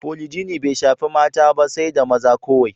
Polijini bai shaffi mata ba sai da maza kowai.